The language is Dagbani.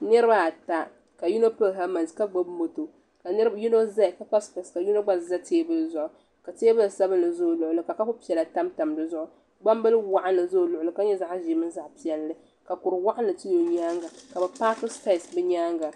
Konstirakshin sayite n bɔŋo maa ka dabba ayi za ni maa ni ka o mali bini wuhiri o taabilɛte maa zuɣu ka gba zaa niŋda kɔll ka bi yɛ liiga ɔrɛɛnji nima ka pili zipili rɛd ka tiraak maa za bi nyaanga ka za tankpaɣu zuɣu.